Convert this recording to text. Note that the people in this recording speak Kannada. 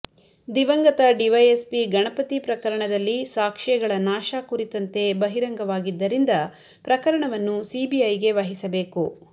ದಿವಂಗತ ಡಿವೈಎಸ್ಪಿ ಗಣಪತಿ ಪ್ರಕರಣದಲ್ಲಿ ಸಾಕ್ಷ್ಯಗಳ ನಾಶ ಕುರಿತಂತೆ ಬಹಿರಂಗವಾಗಿದ್ದರಿಂದ ಪ್ರಕರಣವನ್ನು ಸಿಬಿಐಗೆ ವಹಿಸಬೇಕು